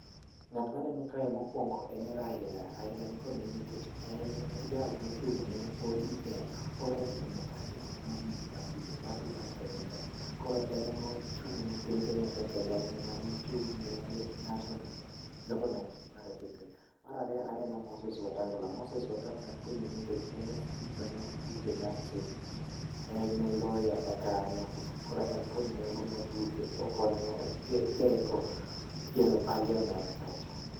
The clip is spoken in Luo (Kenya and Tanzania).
Ng'at maneno kae mokuongo en Raila, Raila nikod nengo nikech en e jal mochung' ne ODM Orange Democratic Movement party, party mar Kenya ka. Koro en ema ochung' ne piny Kenya kendo en ema ne ochung' ne national government mar piny Kenya nka. Mar ariyo aneno Moses Wetangula, Moses Wetangula nikod nengo nikech en e speaker mar bunge mar senate en e lawyer ma kanyo koro en kod nengo nikech okonyo jengo gero parliament kacha.